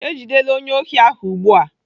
Ejidela onye ohi ahụ ugbu a.